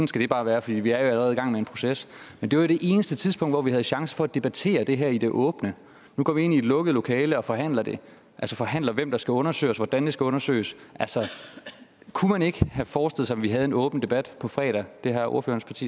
skal det bare være fordi vi jo allerede er i gang med en proces men det var det eneste tidspunkt hvor vi havde chance for at debattere det her i det åbne nu går vi ind i et lukket lokale og forhandler det altså forhandler hvem der skal undersøges hvordan det skal undersøges kunne man ikke have forestillet vi havde en åben debat på fredag det har ordførerens